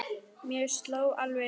Mér sló alveg út núna.